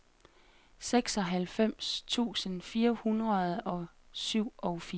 seksoghalvfems tusind fire hundrede og syvogfirs